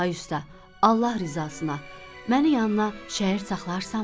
Ay usta, Allah rızasına, məni yanına şəyird saxlayarsanmı?